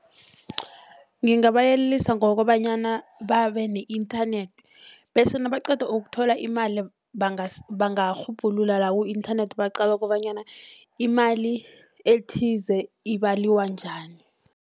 Ngingabayelelisa ngokobanyana babe ne-internet.,bese nabaqeda ukuthola imali, bangarhubhulula la ku-internet baqale kobanyana imali ethize ibalwa njani.